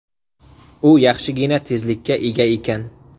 U yaxshigina tezlikka ega ekan.